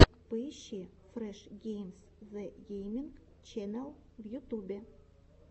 поищи фреш геймс зэ гейминг ченел в ютубе